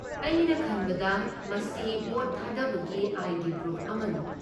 ꯑꯩꯅ ꯈꯟꯕꯗ ꯃꯁꯤ ꯚꯣꯠ ꯊꯥꯗꯕꯒꯤ ꯑꯥꯏ.ꯗꯤ. ꯄ꯭ꯔꯨꯐ ꯑꯃꯅꯤ꯫